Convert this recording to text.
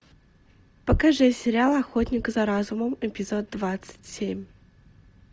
покажи сериал охотник за разумом эпизод двадцать семь